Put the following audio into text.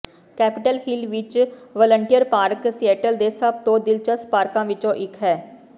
capital Hill ਵਿਚ Volunteer Park Seattle ਦੇ ਸਭ ਤੋਂ ਦਿਲਚਸਪ ਪਾਰਕਾਂ ਵਿੱਚੋਂ ਇੱਕ ਹੈ